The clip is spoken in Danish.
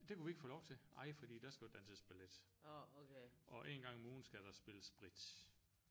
Det kunne vi ikke få lov til ej fordi der skal jo danses ballet og en gang om ugen skal der spille bridge